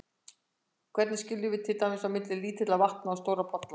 Hvernig skiljum við til dæmis á milli lítilla vatna og stórra polla?